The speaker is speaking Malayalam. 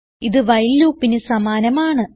ഇത് വൈൽ loopന് സമാനമാണ്